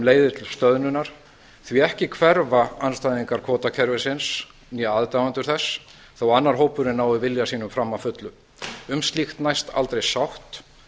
leiðir til stöðnunar því að hvorki hverfa andstæðingar kvótakerfisins né aðdáendur þess þótt annar hópurinn nái vilja sínum fram að fullu um slíkt næst aldrei sátt